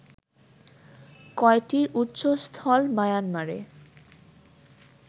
কয়টির উৎসস্থল মায়ানমারে